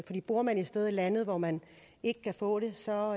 man bor et sted i landet hvor man ikke kan få det så